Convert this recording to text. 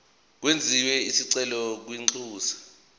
kwenziwe isicelo kwinxusa